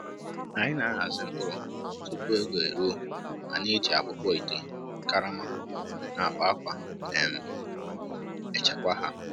Anyị na-ahazi mkpụrụ tupu oge eruo ma na-eji akpụkpọ ite, karama, na akpa akwa um echekwa ha.